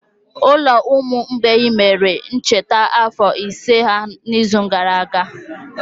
Ụlọ ụmụ mgbei mere omume ncheta afọ ise ha n'izu gara aga.